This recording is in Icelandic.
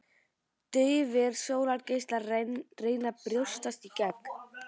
Daufir sólgeislar að reyna að brjótast í gegn.